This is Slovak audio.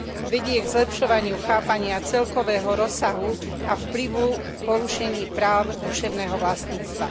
Vedie k zlepšovaniu chápania celkového rozsahu a vplyvu porušení práv duševného vlastníctva.